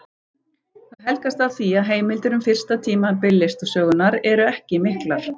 Það helgast af því að heimildir um fyrsta tímabil listasögunnar eru ekki miklar.